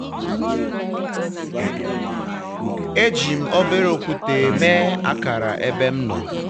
eji m obere okwute mee akara ebe m nọ.